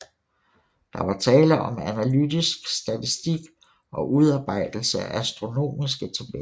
Der var tale om analytisk statistik og udarbejdelse af astronomiske tabeller